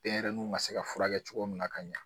Denɲɛrɛninw ka se ka furakɛ cogo min na ka ɲa